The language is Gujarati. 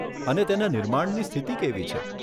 અને તેના નિર્માણની સ્થિતિ કેવી છે?